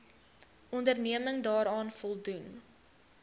onderneming daaraan voldoen